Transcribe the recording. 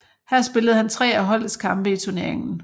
Her spillede han tre af holdets kampe i turneringen